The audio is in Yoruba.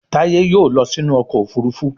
Taye yóò ló sí inú ọkọ̀ òfurufú